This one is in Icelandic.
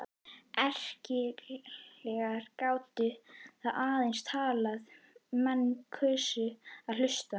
Erkienglar gátu þá aðeins talað er menn kusu að hlusta.